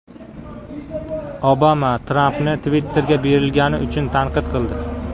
Obama Trampni Twitter’ga berilgani uchun tanqid qildi.